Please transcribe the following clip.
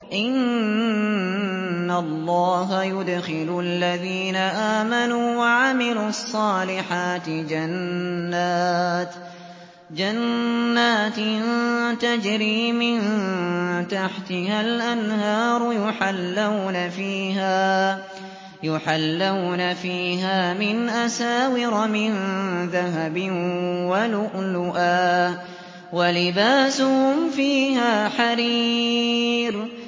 إِنَّ اللَّهَ يُدْخِلُ الَّذِينَ آمَنُوا وَعَمِلُوا الصَّالِحَاتِ جَنَّاتٍ تَجْرِي مِن تَحْتِهَا الْأَنْهَارُ يُحَلَّوْنَ فِيهَا مِنْ أَسَاوِرَ مِن ذَهَبٍ وَلُؤْلُؤًا ۖ وَلِبَاسُهُمْ فِيهَا حَرِيرٌ